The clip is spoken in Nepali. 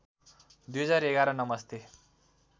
२०११ नमस्ते